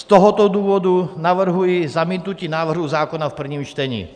Z tohoto důvodu navrhuji zamítnutí návrhu zákona v prvním čtení.